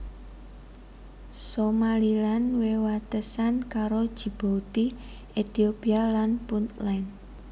Somaliland wewatesan karo Djibouti Ethiopia lan Puntland